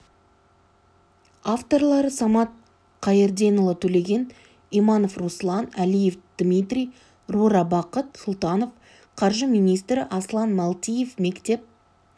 авторлары самат қайырденұлы төлеген иманов руслан әлиев дмитрий рура бақыт сұлтанов қаржы министрі аслан малтиев мектеп